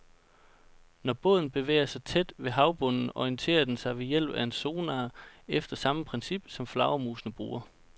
Når båden bevæger sig tæt ved havbunden, orienterer den sig ved hjælp af en sonar efter samme princip, som flagermusene bruger.